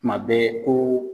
Kuma bɛɛ ko